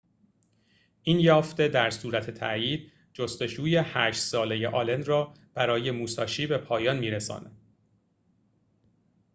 این یافته در صورت تأیید جستجوی هشت ساله آلن را برای موساشی به پایان می‌رساند